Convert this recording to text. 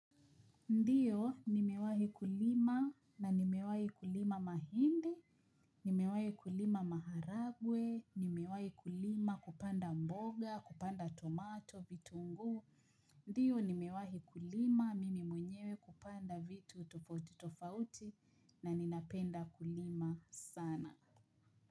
Ndio, nimewahi kulima na nimewahi kulima mahindi, nimewahi kulima maharagwe, nimewahi kulima kupanda mboga, kupanda tomato, vitunguu. Ndio, nimewahi kulima, mimi mwenyewe hupanda vitu tofauti tofauti na ninapenda kulima sana.